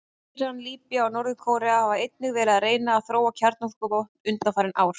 Íran, Líbía og Norður-Kórea hafa einnig verið að reyna að þróa kjarnavopn undanfarin ár.